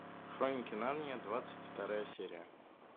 хроники нарнии двадцать вторая серия